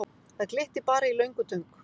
Það glittir bara í löngutöng.